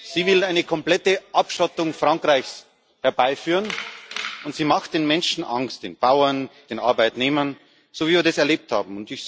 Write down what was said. Sie will eine komplette Abschottung Frankreichs herbeiführen, und sie macht den Menschen Angst den Bauern, den Arbeitnehmern, so, wie wir das erlebt haben.